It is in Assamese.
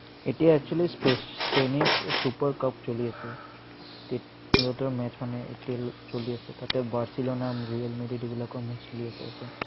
এতিয়া actually spanish super cup চলি আছে। সিহঁতৰ match মানে, এতিয়ালৈ চলি আছে। তাতে barcelona, real madrid এইবিলাকৰ match চলি আছে, তাতে।